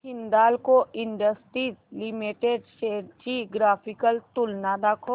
Hindalco industries limited shares ची graphical तुलना दाखव